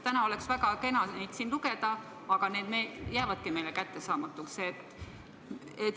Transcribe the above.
Täna oleks väga kena neid siin lugeda, aga need jäävadki meile kättesaamatuks.